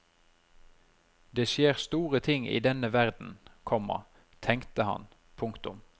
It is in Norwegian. Det skjer store ting i denne verden, komma tenkte han. punktum